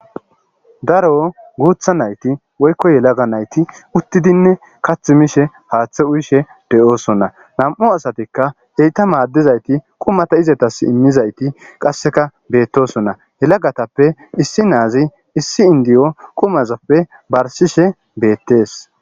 darro gutha nayiti woyikko yalagga nayiti utidinne kathi mishe hathe uyishe deyosona nam'u assati eta madizayiti quma ettasi imizayit betosona yalaga na'azi issi indiyuwu barisihe betesi